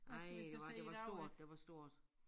Ej hvad det var stort det var stort